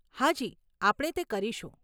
હા જી, આપણે તે કરીશું.